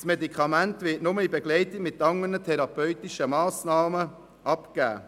Das Medikament wird nur in Begleitung mit anderen therapeutischen Massnahmen abgegeben.